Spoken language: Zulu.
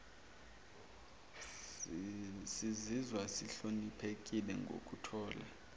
sizizwa sihloniphekile ngokuthola